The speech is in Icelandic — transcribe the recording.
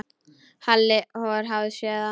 Halli hor hafði séð hann.